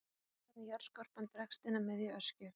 Ljóst er hvernig jarðskorpan dregst inn að miðju Öskju.